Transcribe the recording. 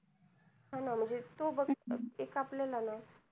हा ना म्हणजे तू बग ना एक आपल्यालाना